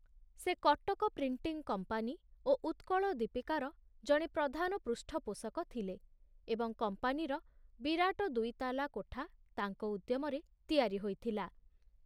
ସେ Cuttack printing company ଓ ଉତ୍କଳ ଦୀପିକାର ଜଣେ ପ୍ରଧାନ ପୃଷ୍ଠପୋଷକ ଥିଲେ ଏବଂ କମ୍ପାନୀର ବିରାଟ ଦୁଇତାଲା କୋଠା ତାଙ୍କ ଉଦ୍ୟମରେ ତିଆରି ହୋଇଥିଲା।